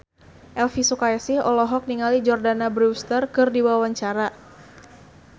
Elvy Sukaesih olohok ningali Jordana Brewster keur diwawancara